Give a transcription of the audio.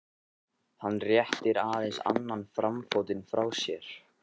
Hann réttir aðeins annan framfótinn frá sér.